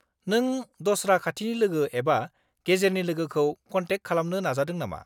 नों दस्रा खाथिनि लोगो एबा गेजेरनि लोगोखौ कन्टेक्ट खालामनो नाजादों नामा?